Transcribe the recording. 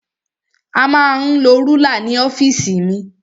A ma ń lo rúlà ní ọ́fìsì mi.